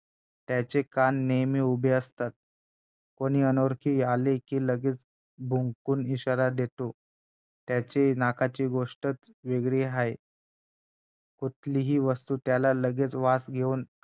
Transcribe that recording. त्याचे कान नेहमी उभे असतात कोणी अनोळखी आले की तो लगेच भुंकून इशारा देतो त्याचे नाकाची गोष्टचं वेगळी आहे कुठलीही वस्तू त्याला लगेचं वास घेऊन